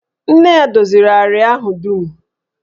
Nne ya doziri àrịá ahụ dum